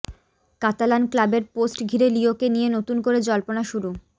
Catalan ক্লাবের post ঘিরে লিওকে নিয়ে নতুন করে জল্পনা শুরু